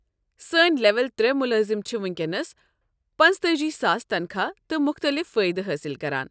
سٲنہِ لیول ترے ملٲزم چھِ وٕنکٮ۪نس پنٛژتأجی ساس تنخواہ تہٕ مختٔلف فٲیدٕ حٲصل کران۔